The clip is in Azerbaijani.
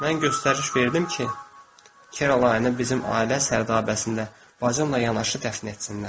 Mən göstəriş verdim ki, Kerolaynı bizim ailə sərdabəsində bacımla yanaşı dəfn etsinlər.